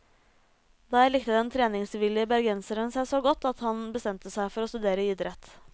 Der likte den treningsvillige bergenseren seg så godt at han bestemte seg for å studere idrett.